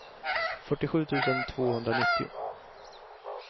fyrtiosju tusen tvåhundranittio